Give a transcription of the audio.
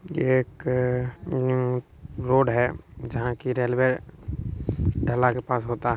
एक रोड है जहां की रेलवे ढाला के पास होता है।